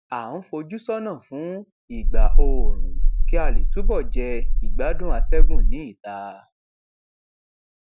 à ń fojú sónà fún ìgbà oòrùn kí a lè túbọ jẹ ìgbádùn atẹgùn ni ìta